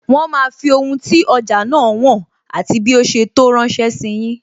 Wọn máa fi ohun tí ọjà náà wọn, àti bí ó ṣe tó ránsẹ́ sí yin